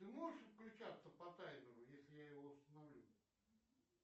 ты можешь включаться по таймеру если я его установлю